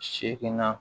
Seegin na